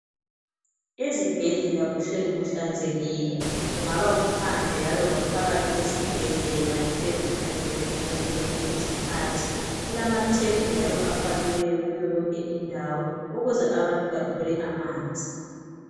Izibhedlela kuhleli kuhlanzekile. Kungaba kuphandle laloba phakathi kwesibhedlela kuhleli kuhlanzekile ngazozonke izikhathi. Kulamathephu njalo afakiweyo kuyo yonke indawo ukuze abantu bathole amanzi.